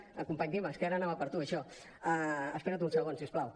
company dimas que ara anava per tu això espera’t un segon si us plau